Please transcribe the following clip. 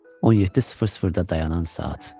17:00-da dayanan saat.